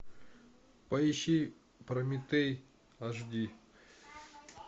поищи прометей аш ди